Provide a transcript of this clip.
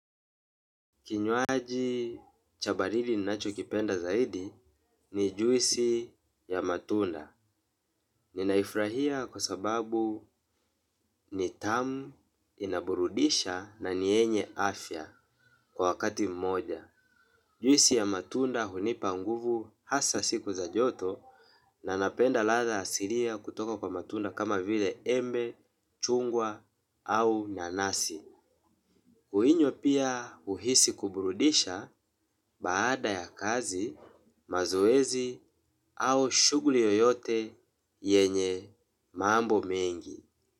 Kinywaji chabaridi ninacho kipenda zaidi ni juisi ya matunda. Ninaifurahia kwa sababu ni tamu inaburudisha na niyenye afya kwa wakati mmoja. Juisi ya matunda hunipanguvu hasa siku za joto na napenda ladha asilia kutoka kwa matunda kama vile embe, chungwa au nanasi. Uinywa pia huhisi kuburudisha baada ya kazi mazoezi au shughuli yoyote yenye mambo mengi.